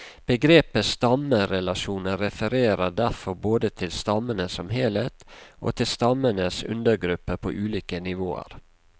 Begrepet stammerelasjoner refererer derfor både til stammene som helhet, og til stammenes undergrupper på ulike nivåer.